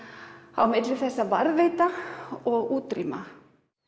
á milli þess að varðveita og útrýma